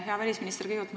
Hea välisminister!